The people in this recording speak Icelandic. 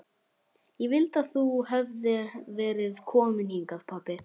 Ég vildi að þú hefðir verið kominn hingað pabbi.